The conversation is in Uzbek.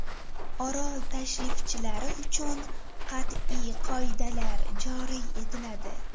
Orol tashrifchilari uchun qat’iy qoidalar joriy etiladi.